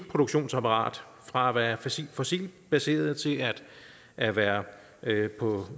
produktionsapparat fra at være fossilt fossilt baseret til at være